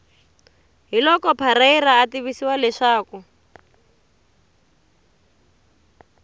hiloko parreira a tivisa leswaku